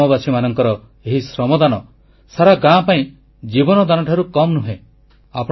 ଗ୍ରାମବାସୀମାନଙ୍କର ଏହି ଶ୍ରମଦାନ ସାରା ଗାଁ ପାଇଁ ଜୀବନ ଦାନଠାରୁ କମ୍ ନୁହେଁ